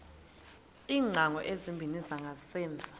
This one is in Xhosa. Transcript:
iingcango ezimbini zangasemva